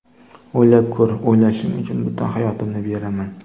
O‘ylab ko‘r, o‘ylashing uchun butun hayotimni beraman”.